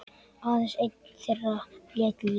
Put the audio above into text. Aðeins einn þeirra lét lífið.